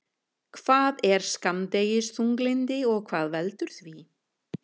Hvað er skammdegisþunglyndi og hvað veldur því?